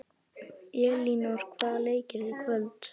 Elínór, hvaða leikir eru í kvöld?